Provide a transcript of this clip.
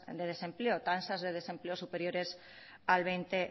de desempleo tasas de desempleo superiores al veinte